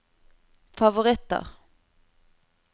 favoritter